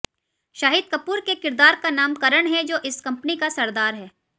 शाहिद कपूर के किरदार का नाम करण है जो इस कंपनी का सरदार है